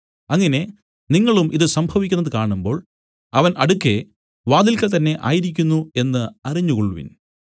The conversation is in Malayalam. അങ്ങനെ നിങ്ങളും ഇതു സംഭവിക്കുന്നത് കാണുമ്പോൾ അവൻ അടുക്കെ വാതിൽക്കൽ തന്നേ ആയിരിക്കുന്നു എന്നു അറിഞ്ഞുകൊൾവിൻ